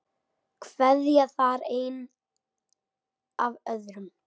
Kveðja þar einn af öðrum.